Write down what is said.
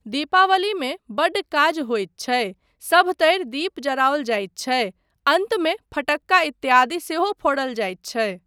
दीपावलीमे बड्ड काज होइत छै, सभतरि दीप जराओल जाइत छै, अन्तमे फटक्का इत्यादि सेहो फोड़ल जाइत छै।